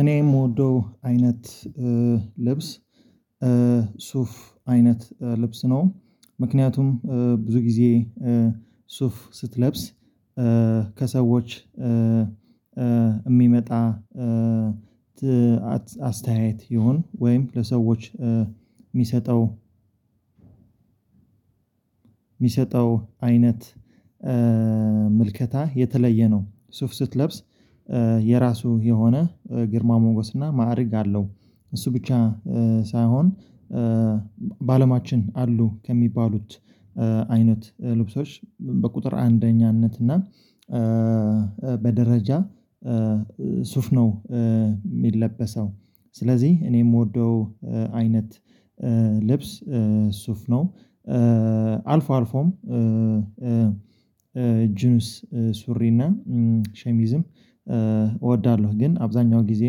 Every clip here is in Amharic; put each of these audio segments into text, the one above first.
እኔ የምወደው አይነት ልብስ ሱፍ አይነት ልብስ ነው። ምክንያቱም ብዙ ጊዜ ሱፍ ስትለብስ ከሰዎች የሚመጣ አስተያየት ይሁን ወይም ለሰዎች የሚሰጠው የሚሰጠው አይነት ምልከታ የተለየ ነው። ሱፍ ስትለብስ የራሱ የሆነ ግርማ ሞገስና እና ማዕረግ አለው እሱ ብቻ ሳይሆን አሉ ከሚባሉት አይነት ልብሶች በቁጥር አንደኛነት እና በደረጃ ሱፍ ነው የሚለበሰው። ስለዚህ እኔ የምወደው አይነት ልብስ ሱፍ ነው። አልፎ አልፎም ጅንስ ሱሪና ሸሚዝም እወዳለሁ ግን አብዛኛው ጊዜ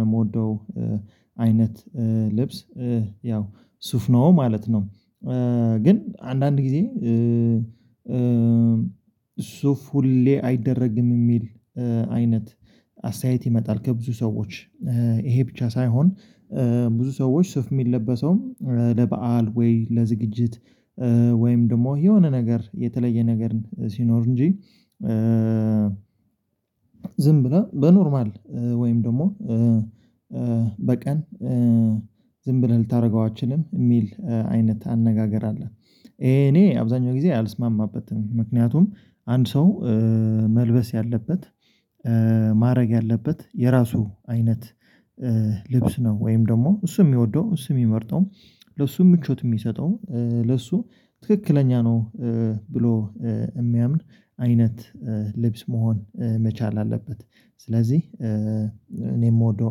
የምወደው አይነት ልብስ ያው ሱፍ ነው ማለት ነው። ግን አንዳንድ ጊዜ ሱፍ ሁሌ አይደረግም የሚል አይነት አስተያየት ይመጣል ከብዙ ሰዎች ይሄ ብቻ ሳይሆን ብዙ ሰዎች ሱፍ የሚለበሰውም ለበአል ወይ ለዝግጅት ወይም ደግሞ የሆነ ነገር የተለየ ነገርን ሲኖር እንጂ ዝም ብለህ በኖርማል ወይም ደግሞ በቀን ዝም ብለህ ልታደርገው አትችልም የሚል አይነት አነጋገር አለ። እኔ አብዛኛው ጊዜ አልስማማበትም ምክንያቱም አንድ ሰው መልበስ ያለበት ማድረግ ያለበት የራሱ አይነት ልብስ ነው ወይም ደግሞ እሱ የሚወደው እሱ የሚመርጠው ለብሱም ምቾት የሚሰጠው ለሱ ትክክለኛ ነው ብሎ የሚያምን አይነት ልብስ መሆን መቻል አለበት። ስለዚህ እኔ የምወደው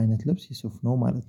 አይነት ልብስ የሱፍ ነው ማለት ነው